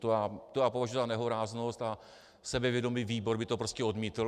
To já považuji za nehoráznost a sebevědomý výbor by to prostě odmítl.